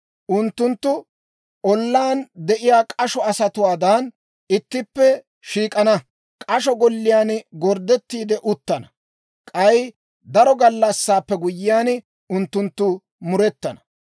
Unttunttu ollaan de'iyaa k'asho asatuwaadan, ittippe shiik'ana; k'asho golliyaan gorddettiide uttana. K'ay daro gallassaappe guyyiyaan, unttunttu murettana.